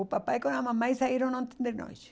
O papai com a mamãe saíram ontem de noite.